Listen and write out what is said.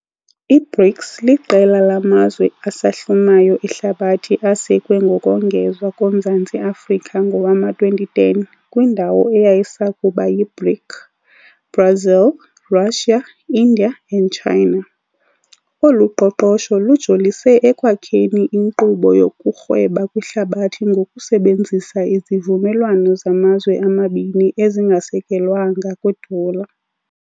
I-BRICS liqela lamazwe asahlumayo ehlabathi asekwe ngokongezwa koMzantsi Afrika ngowama-2010 kwindawo eyayisakuba yiBRIC, Brazil, Russia, India and China. Olu qoqosho lujolise ekwakheni inkqubo yokurhweba kwihlabathi ngokusebenzisa izivumelwano zamazwe amabini ezingasekelwanga kwidola.